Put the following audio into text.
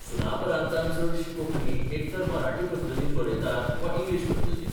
सुनापरान्तांत चडशी कोंकणी एक तर मराठी पद्दतीन बरयतात बा इंग्लिश पद्दतीन.